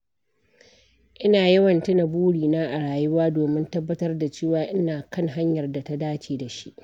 Ina yawan tuna burina a rayuwa domin tabbatar da cewa ina kan hanyar da ta dace da shi.